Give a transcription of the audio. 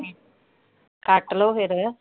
ਕੱਟ ਲੋ ਫਿਰ।